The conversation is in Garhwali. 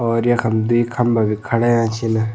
और यखम द्वि खम्बा भी खड़ा हुयां छिन।